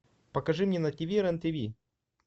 покажи мне на тв рен тв